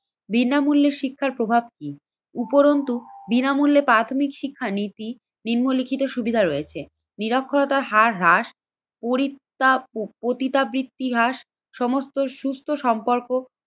বিনামূল্যে শিক্ষার প্রভাব কি? উপরন্তু বিনামূল্যে প্রাথমিক শিক্ষা নীতি নিম্নলিখিত সুবিধা রয়েছে। নিরক্ষরতার হার হ্রাস পরিত্ৰাপ ও পতিতাবৃত্তি হ্রাস সমস্ত সুস্থ সম্পর্ক